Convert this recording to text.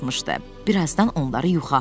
Birazdan onları yuxu apardı.